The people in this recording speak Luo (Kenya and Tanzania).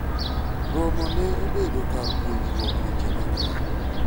romo ne obedo kar puonjruok weche mang'eny